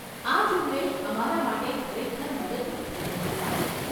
આ ઝુંબેશ અમારા માટે ખરેખર મદદરૂપ થઈ હતી, સાહેબ.